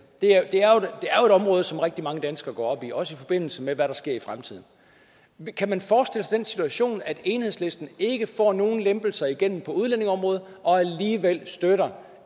det er jo et område som rigtig mange danskere går op i også i forbindelse med hvad der sker i fremtiden kan man forestille sig den situation at enhedslisten ikke får nogen lempelser igennem på udlændingeområdet og alligevel støtter